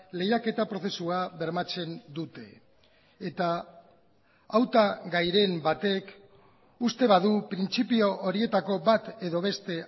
lehiaketa prozesua bermatzen dute eta hautagairen batek uste badu printzipio horietako bat edo beste